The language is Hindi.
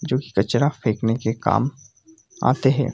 जो की कचरा फेकने के काम आते हैं |